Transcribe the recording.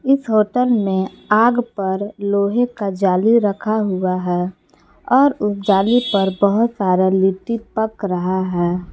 इस होटल में आग पर लोहे का जाली रखा हुआ है और उस जाली पर बहुत सारा लिट्टी पक रहा है।